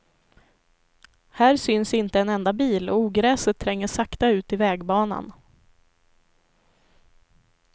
Här syns inte en enda bil och ogräset tränger sakta ut i vägbanan.